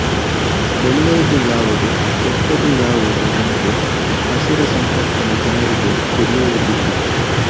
ಒಳ್ಳೆಯದು ಯಾವುದು ಕೆಟ್ಟದು ಯಾವುದು ಎಂದು ಅಸುರ ಸಂಪತ್ತಿನ ಜನರಿಗೆ ತಿಳಿಯುವುದಿಲ್ಲ